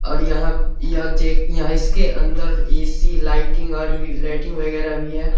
और यह यह जेक यह इसके अंदर ए.सी. लाइटिंग और भी लाइटिंग वगैरा भी है।